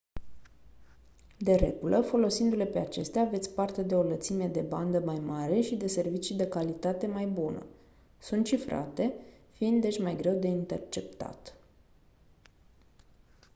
de regulă folosindu-le pe acestea aveți parte de o lățime de bandă mai mare și de servicii de calitate mai bună sunt cifrate fiind deci mai greu de interceptat